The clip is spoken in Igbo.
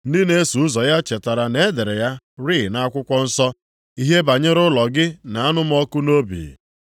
Ndị na-eso ụzọ ya chetara na e dere ya rịị nʼakwụkwọ nsọ, “Ihe banyere ụlọ gị na-anụ m ọkụ nʼobi.” + 2:17 \+xt Abụ 69:9\+xt*